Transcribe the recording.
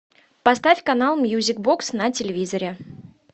поставь канал мьюзик бокс на телевизоре